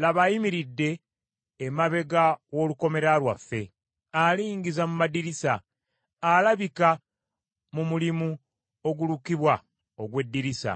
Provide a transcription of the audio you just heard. Laba ayimiridde emabega w’olukomera lwaffe, Alingiza mu madirisa, alabikira mu mulimu ogulukibwa ogw’omu ddirisa.